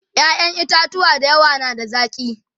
ƴaƴan itatuwa da yawa na da zaki